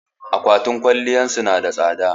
Akwatin kayan kwalliya su na da tsada